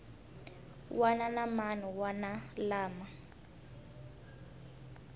wana na man wana lama